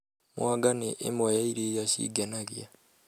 Mwanga nĩ ĩmwe ya irio iria cingenagia